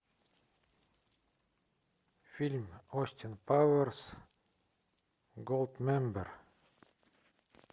фильм остин пауэрс голд мембер